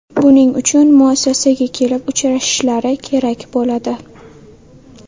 Buning uchun muassasaga kelib uchrashishlari kerak bo‘ladi.